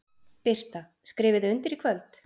Birta: Skrifið þið undir í kvöld?